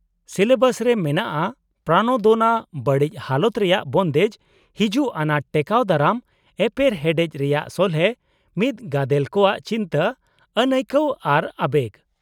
-Syllabus ᱨᱮ ᱢᱮᱱᱟᱜᱼᱟ ᱯᱨᱟᱱᱟᱫᱳᱱᱟ, ᱵᱟᱹᱲᱤᱡ ᱦᱟᱞᱚᱛ ᱨᱮᱭᱟᱜ ᱵᱚᱱᱫᱮᱡ, ᱦᱤᱡᱩᱜ ᱟᱱᱟᱴ ᱴᱮᱠᱟᱣ ᱫᱟᱨᱟᱢ , ᱮᱯᱮᱨᱦᱮᱰᱮᱪ ᱨᱮᱭᱟᱜ ᱥᱚᱞᱦᱮ, ᱢᱤᱫ ᱜᱟᱫᱮᱞ ᱠᱚᱣᱟᱜ ᱪᱤᱱᱛᱟᱹ, ᱟᱹᱱᱟᱹᱭᱠᱟᱹᱣ ᱟᱨ ᱟᱵᱮᱜ ᱾